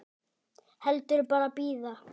Heldur bara bíða.